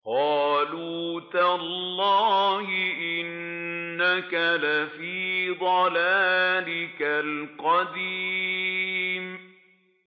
قَالُوا تَاللَّهِ إِنَّكَ لَفِي ضَلَالِكَ الْقَدِيمِ